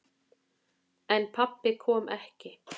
En pabbi kom ekki.